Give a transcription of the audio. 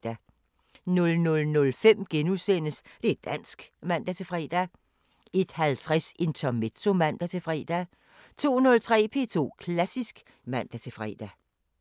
00:05: Det´ dansk *(man-fre) 01:50: Intermezzo (man-fre) 02:03: P2 Klassisk (man-fre)